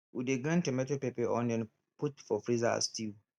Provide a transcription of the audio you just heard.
we dey grind tomato pepper onion put for freezer as stew